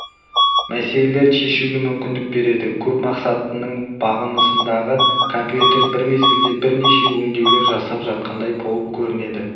маселелерді шешуге мүмкіндік бередікөпмақсатты нің бағынысындағы компьютер бір мезгілде бірнеше өңдеулер жасап жатқандай болып көрінеді